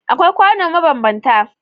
Akwai kwano mabanbanta